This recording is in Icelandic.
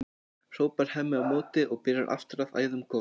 hrópar Hemmi á móti og byrjar aftur að æða um gólf.